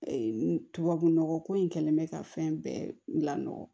tubabu nɔgɔ ko in kɛlen bɛ ka fɛn bɛɛ lamɔgɔ